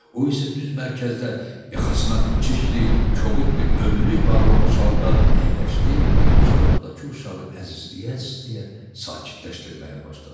O isə düz mərkəzdə yaxasına çirkli, kobud bir önlük bağlamış halda əyləşdi, qucağındakı uşağı əzizləyə-əzizləyə sakitləşdirməyə başladı.